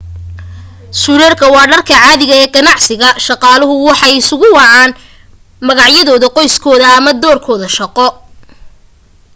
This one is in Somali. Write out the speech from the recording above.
suudhadhka waa dharka caadiga ee ganacsiga shaqaaluhu waxay isugu wacaan magacyada qoyskooda ama doorkooda shaqo